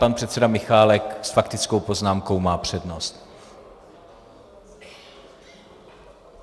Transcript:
Pan předseda Michálek s faktickou poznámkou má přednost.